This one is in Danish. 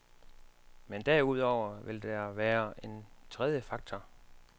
Men derudover vil der være en tredje faktor.